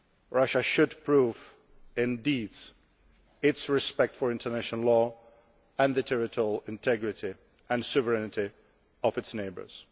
Russia should prove in deeds its respect for international law and for the territorial integrity and sovereignty of its neighbours.